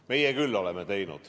Meie küll oleme teinud.